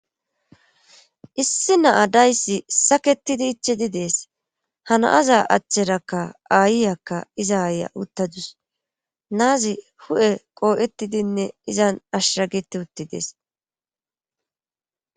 Issi naadayssi saketidi ichidi dees hano7aza achcherakka aayiyakka iza aaya uttadus naazi hu7e qoo7ettidinne izan ashsagiti utti dees.